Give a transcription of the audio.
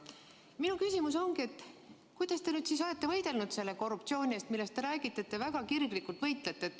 Minu küsimus ongi, et kuidas te siis olete võidelnud selle korruptsiooni eest, mille eest, nagu te räägite, te väga kirglikult võitlete.